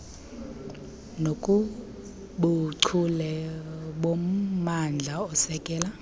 nakubuchule bommandla osekela